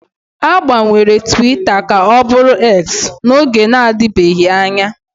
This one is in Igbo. A gbanwere Twita ka ọ bụrụ X n'oge na-adịbeghị anya